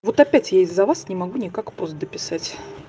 вот опять я из-за вас не могу никак пост дописать